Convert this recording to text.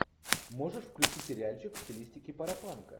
можешь включить сериальчик в стилистике парапанка